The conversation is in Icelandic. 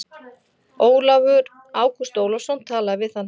Ágúst Ólafsson talaði við hann.